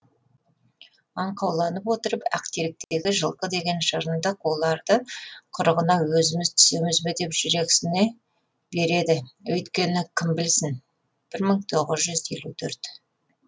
аңқауланып отырып ақтеректегі жылқы жеген жырынды қуларды құрығына өзіміз түсеміз бе деп жүрексіне береді өйткені кім білсін бір мың тоғыз жүз елу төрт